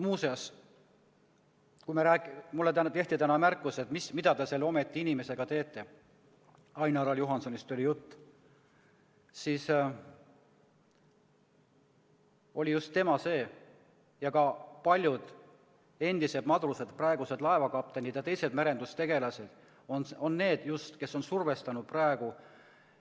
Muuseas, kui mulle tehti täna märkus, et mida te seal ometi inimesega teete – jutt oli Ain-Alar Juhansonist –, siis just tema oli see ja ka paljud endised madrused, praegused laevakaptenid ja teised merendustegelased on need, kes on praegu